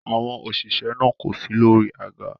Àwọn òṣìṣẹ́ náà kò si lórí àga.